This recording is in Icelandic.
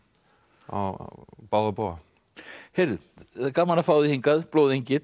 á báða bóga heyrðu það er gaman að fá þig hingað